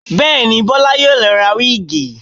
Bẹ́ẹ̀ni, Bọlá yóò lọ ra wíìgì